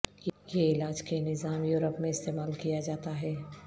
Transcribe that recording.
یہ علاج کے نظام یورپ میں استعمال کیا جاتا ہے